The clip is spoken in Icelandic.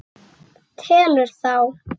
Telur þá.